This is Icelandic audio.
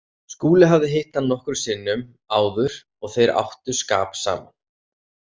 Skúli hafði hitt hann nokkrum sinnum áður og þeir áttu skap saman.